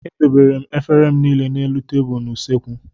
Edobere m efere m niile n'elu tebụlụ n'usekwu.